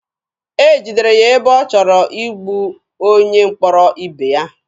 E jidere ya ebe ọ chọrọ igbu onye mkpọrọ ibe ya.